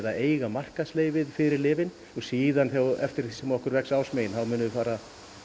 eiga fyrir lyfin síðan eftir því sem okkur vex ásmegin munum við fara